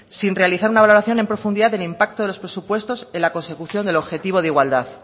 sin realizar una valoración en profundidad del impacto de los presupuestos en la consecución del objetivo de igualdad